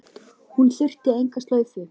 Hún þurfti enga slaufu.